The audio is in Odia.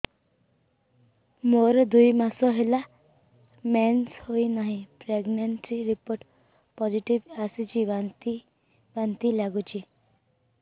ମୋର ଦୁଇ ମାସ ହେଲା ମେନ୍ସେସ ହୋଇନାହିଁ ପ୍ରେଗନେନସି ରିପୋର୍ଟ ପୋସିଟିଭ ଆସିଛି ବାନ୍ତି ବାନ୍ତି ଲଗୁଛି